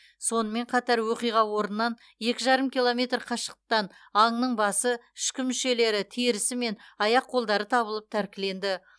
сонымен қатар оқиға орнынан екі жарым километр қашықтықтан аңның басы ішкі мүшелері терісі мен аяқ қолдары табылып тәркіленді